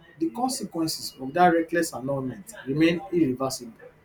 di consequences of dat reckless annulment remain irreversible